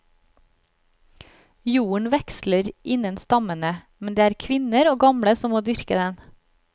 Jorden veksler innen stammene, men det er kvinner og gamle som må dyrke den.